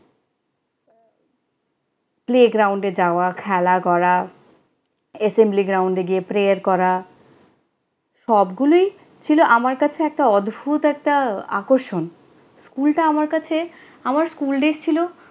playground এ যাওয়া, খেলা করা, assembly ground এ গিয়ে pray করা সবগুলোই ছিল আমার কাছে একটা অদ্ভুত একটা আকর্ষণ। স্কুলটা আমার কাছে, আমার school days ছিল